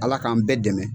Ala k'an bɛɛ dɛmɛ